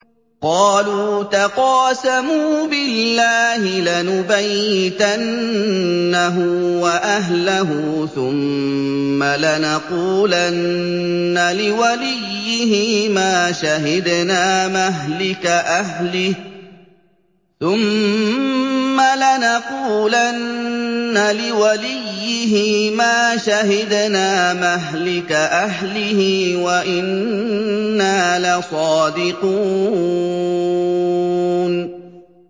قَالُوا تَقَاسَمُوا بِاللَّهِ لَنُبَيِّتَنَّهُ وَأَهْلَهُ ثُمَّ لَنَقُولَنَّ لِوَلِيِّهِ مَا شَهِدْنَا مَهْلِكَ أَهْلِهِ وَإِنَّا لَصَادِقُونَ